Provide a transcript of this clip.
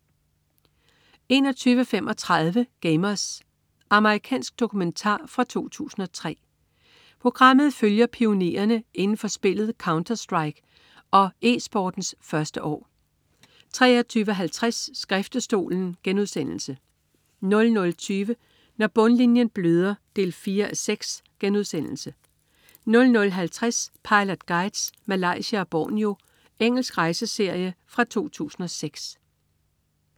21.35 Gamers. Amerikansk dokumentar fra 2003. Programmet følger pionererne inden for spillet "Counterstrike" og eSportens første år 23.50 Skriftestolen* 00.20 Når bundlinjen bløder 4:6* 00.50 Pilot Guides: Malaysia og Borneo. Engelsk rejseserie fra 2006